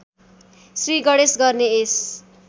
श्रीगणेश गर्ने यस